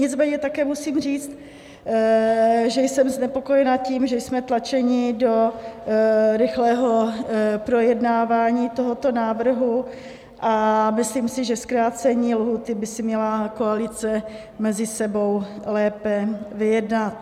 Nicméně také musím říct, že jsem znepokojena tím, že jsme tlačeni do rychlého projednávání tohoto návrhu, a myslím si, že zkrácení lhůty by si měla koalice mezi sebou lépe vyjednat.